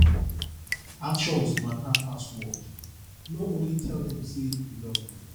actions matter pass word no only tell them sey you love them